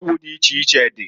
Ọgwụ di iche iche di.